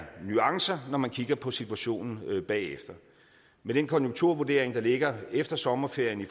nuancer når man kigger på situationen bagefter med den konjunkturvurdering der ligger efter sommerferien